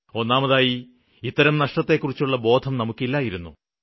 ഒന്നാമതായി ഇത്തരം നഷ്ടത്തെക്കുറിച്ചുള്ള ബോധം നമുക്കില്ലായിരുന്നു